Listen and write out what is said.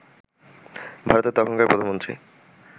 ভারতের তখনকার প্রধানমন্ত্রী